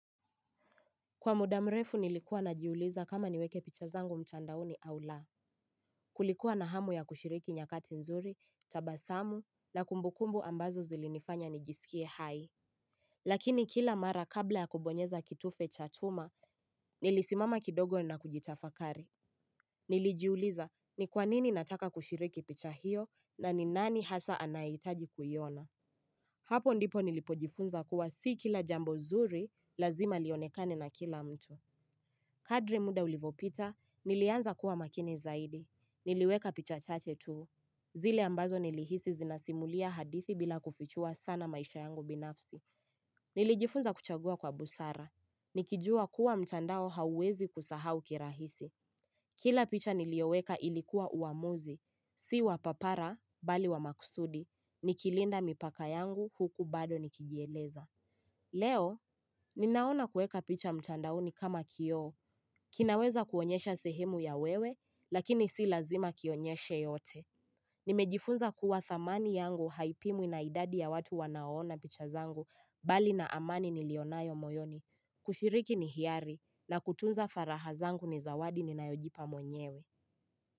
Kwa mudamrefu nilikuwa najiuliza kama niweke picha zangu mtandaoni au laa Kulikuwa na hamu ya kushiriki nyakati nzuri, tabasamu, na kumbukumbu ambazo zilinifanya nijisikie hai Lakini kila mara kabla ya kubonyeza kitufe cha tuma, nilisimama kidogo na kujitafakari Nilijiuliza ni kwa nini nataka kushiriki picha hiyo na ni nani hasa anaitaji kuyiona Hapo ndipo nilipojifunza kuwa si kila jambo nzuri lazima lionekane na kila mtu Kadri muda ulivopita, nilianza kuwa makini zaidi. Niliweka picha chache tu. Zile ambazo nilihisi zinasimulia hadithi bila kufichua sana maisha yangu binafsi. Nilijifunza kuchagua kwa busara. Nikijua kuwa mtandao hauwezi kusahau kirahisi. Kila picha nilioweka ilikuwa uamuzi. Si wa papara, bali wa makusudi. Nikilinda mipaka yangu huku bado nikijieleza. Leo, ninaona kueka picha mtandaoni kama kio, kinaweza kuonyesha sehemu ya wewe, lakini si lazima kionyeshe yote. Nimejifunza kuwa thamani yangu haipimwi ina idadi na watu wanao ona picha zangu, bali na amani nilionayo moyoni, kushiriki ni hiari, na kutunza faraha zangu ni zawadi ninaojipa mwenyewe.